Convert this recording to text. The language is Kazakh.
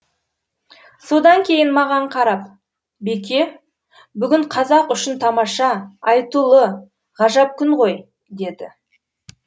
содан кейін маған қарап беке бүгін қазақ үшін тамаша айтулы ғажап күн ғой деді